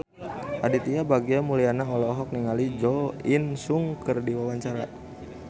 Aditya Bagja Mulyana olohok ningali Jo In Sung keur diwawancara